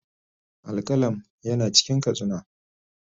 Al-qalam yana cikin katsina